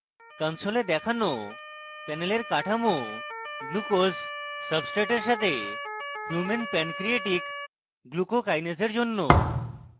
console দেখানো panel কাঠামো glucose সাব্সট্রেটের সাথে human pancreatic glucokinase এর জন্য